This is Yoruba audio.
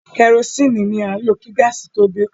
Kẹrosini ní à ń lo kí gáàsì tó dé.